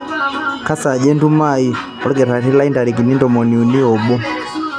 kesaaja entumo aai olkitari lai ntarikini ntomoni uni oobo